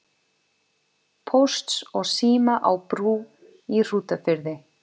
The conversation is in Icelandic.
Pósts og síma á Brú í Hrútafirði.